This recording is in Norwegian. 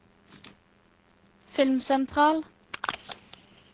filmsentral